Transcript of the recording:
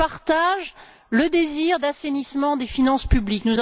Je partage le désir d'assainissement des finances publiques.